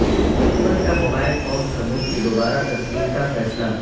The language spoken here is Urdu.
حکومت کا موبائل فون سموں کی دوبارہ تصدیق کا فیصلہ